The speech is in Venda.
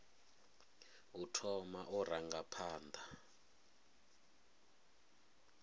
u thoma u ranga phanḓa